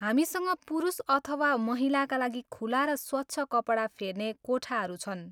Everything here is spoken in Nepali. हामीसँग पुरुष अथवा महिलाका लागि खुला र स्वच्छ कपडा फेर्ने कोठाहरू छन्।